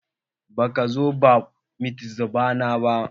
Baka zo bat mitzbah na ba.